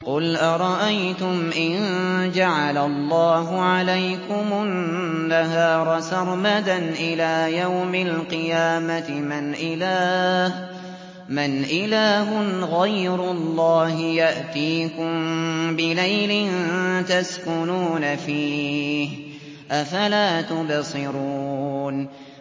قُلْ أَرَأَيْتُمْ إِن جَعَلَ اللَّهُ عَلَيْكُمُ النَّهَارَ سَرْمَدًا إِلَىٰ يَوْمِ الْقِيَامَةِ مَنْ إِلَٰهٌ غَيْرُ اللَّهِ يَأْتِيكُم بِلَيْلٍ تَسْكُنُونَ فِيهِ ۖ أَفَلَا تُبْصِرُونَ